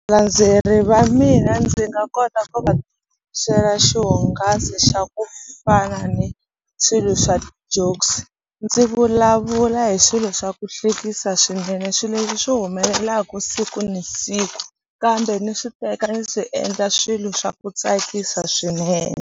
Valandzeleri va mina ndzi nga kota ku va xihungasi xa ku fana ni swilo swa ti-jokes ndzi vulavula hi swilo swa ku hlekisa swinene swilo leswi swi humelelaku siku ni siku kambe ni swi teka ndzi swi endla swilo swa ku tsakisa swinene.